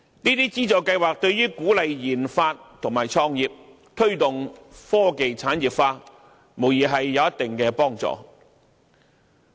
這些資助計劃對於鼓勵研發及創業、推動科技產業化，無疑有一定幫助。